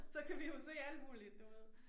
Så kan vi jo se alt muligt du ved